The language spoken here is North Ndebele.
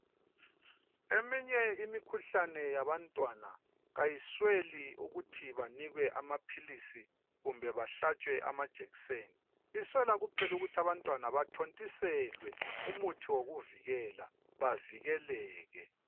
Eminye imikhuhlane yabantwana, kayisweli ukuthi banikwe amaphilisi, kumbe bahlatshwe amajekiseni, iswela kuphela ukuthi abantwana, bathontiselwe, umuthi wokuvikela. Bavikeleke..